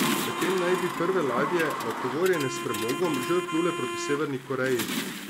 Medtem naj bi prve ladje, natovorjene s premogom, že odplule proti Severni Koreji.